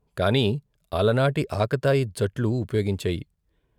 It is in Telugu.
కాని అలనాటి ఆకతాయి జట్లు ఉపయోగించాయి.